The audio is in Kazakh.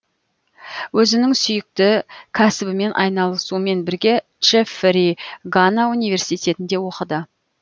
өзінің сүйікті кәсібімен айналысумен бірге джеффри гана университетінде оқыды